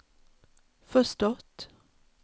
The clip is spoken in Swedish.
förstått